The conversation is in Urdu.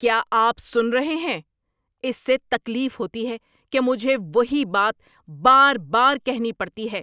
کیا آپ سن رہے ہیں؟ اس سے تکلیف ہوتی ہے کہ مجھے وہی بات بار بار کہنی پڑتی ہے۔